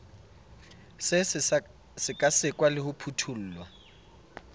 se sekasekwa le ho phuthollwa